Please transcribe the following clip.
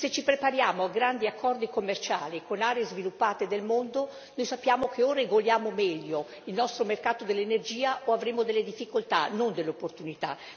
Se ci prepariamo a grandi accordi commerciali con aree sviluppate del mondo, sappiamo che o regoliamo meglio il nostro mercato dell'energia o avremo delle difficoltà, non delle opportunità.